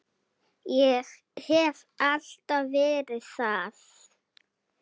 Ég hef alltaf verið það.